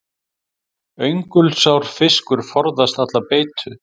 Öngulsár fiskur forðast alla beitu.